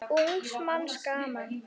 Ungs manns gaman.